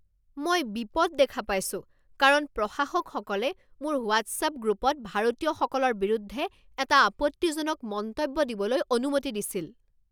মই বিপদ দেখা পাইছোঁ কাৰণ প্ৰশাসকসকলে মোৰ হোৱাট্ছআপ গ্ৰুপত ভাৰতীয়সকলৰ বিৰুদ্ধে এটা আপত্তিজনক মন্তব্য দিবলৈ অনুমতি দিছিল।